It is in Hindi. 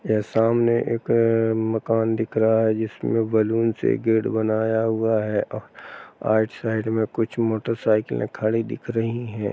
यह सामने एक मकान दिख रहा है जिसमें बलून से गेट बनाया हुआ है आइट साइड में कुछ मोटरसाइकिले खड़ी दिख रही हैं।